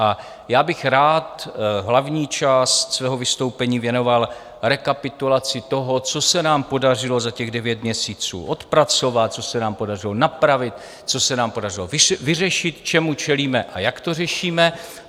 A já bych rád hlavní část svého vystoupení věnoval rekapitulaci toho, co se nám podařilo za těch devět měsíců odpracovat, co se nám podařilo napravit, co se nám podařilo vyřešit, čemu čelíme a jak to řešíme.